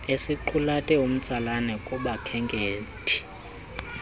esiqulethe umtsalane kubakhenkethi